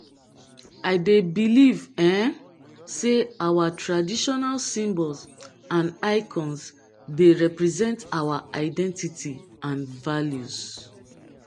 dey believe um say our traditional symbols and icons dey represent our identity and values